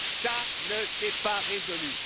Ça ne s'est pas résolu.